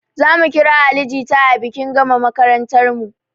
Zamu kira ali jita a bikin gama makarantarmu